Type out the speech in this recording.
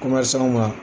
Kuma sanw ma